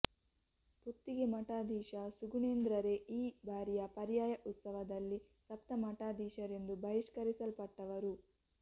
ಪುತ್ತಿಗೆ ಮಠಾಧೀಶ ಸುಗುಣೇಂದ್ರರೇ ಈ ಬಾರಿಯ ಪರ್ಯಾಯ ಉತ್ಸವದಲ್ಲಿ ಸಪ್ತ ಮಠಾಧೀಶರಿಂದ ಬಹಿಷ್ಕರಿಸಲ್ಪಟ್ಟವರು